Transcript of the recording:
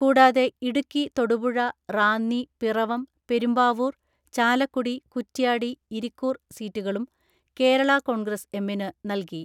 കൂടാതെ ഇടുക്കി തൊടുപുഴ റാന്നി പിറവം പെരുമ്പാവൂർ ചാലക്കുടി കുറ്റ്യാടി ഇരിക്കൂർ സീറ്റുകളും കേരളാ കോൺഗ്രസ് എമ്മിനു നൽകി.